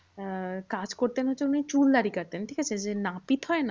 আহ কাজ করতেন উনি চুল দাঁড়ি কাটতেন। ঠিকাছে? যে নাপিত হয় না?